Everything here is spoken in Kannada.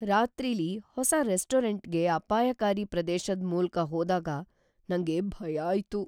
ರಾತ್ರಿಲಿ ಹೊಸ ರೆಸ್ಟೋರೆಂಟ್ಗೆ ಅಪಾಯಕಾರಿ ಪ್ರದೇಶದ್ ಮೂಲ್ಕ್ ಹೋದಾಗ ನಂಗೆ ಭಯ ಆಯ್ತು.